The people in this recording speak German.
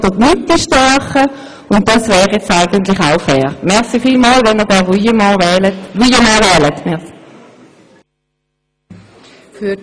Wenn man den Proporz als Argument nimmt, muss man die Linke oder die Mitte stärken.